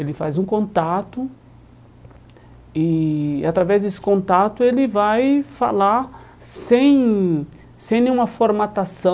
Ele faz um contato e através desse contato ele vai falar sem sem nenhuma formatação